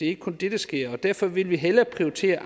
ikke kun det der sker og derfor vil vi hellere prioritere